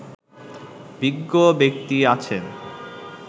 বিজ্ঞ ব্যক্তি আছেন